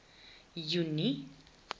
junie